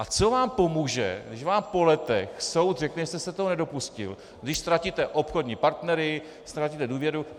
A co vám pomůže, když vám po letech soud řekne, že jste se toho nedopustil, když ztratíte obchodní partnery, ztratíte důvěru?